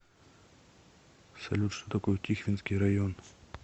салют что такое тихвинский район